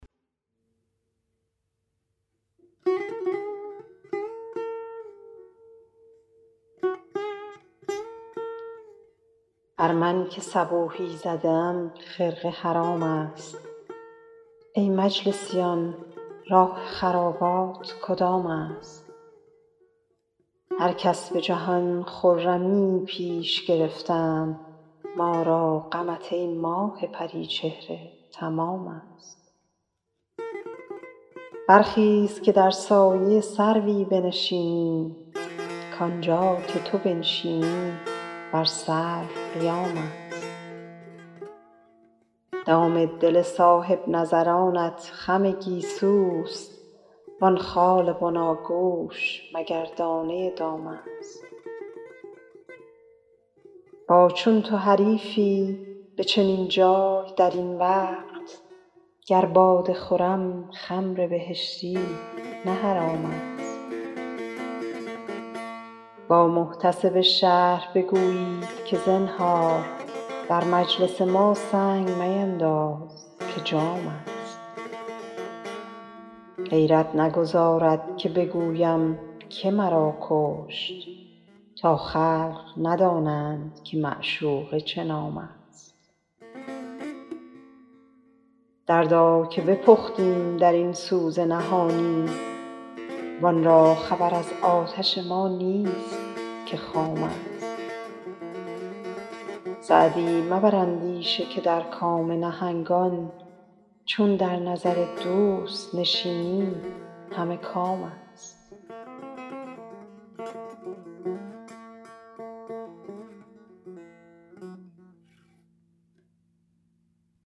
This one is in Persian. بر من که صبوحی زده ام خرقه حرام است ای مجلسیان راه خرابات کدام است هر کس به جهان خرمیی پیش گرفتند ما را غمت ای ماه پری چهره تمام است برخیز که در سایه سروی بنشینیم کانجا که تو بنشینی بر سرو قیام است دام دل صاحب نظرانت خم گیسوست وان خال بناگوش مگر دانه دام است با چون تو حریفی به چنین جای در این وقت گر باده خورم خمر بهشتی نه حرام است با محتسب شهر بگویید که زنهار در مجلس ما سنگ مینداز که جام است غیرت نگذارد که بگویم که مرا کشت تا خلق ندانند که معشوقه چه نام است دردا که بپختیم در این سوز نهانی وان را خبر از آتش ما نیست که خام است سعدی مبر اندیشه که در کام نهنگان چون در نظر دوست نشینی همه کام است